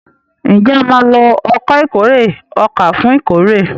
Njé a má ló Ọkọ̀ ìkórè ọkà fún ìkórè?